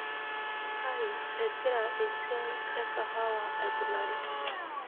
kai egira esia ekahawa aikunari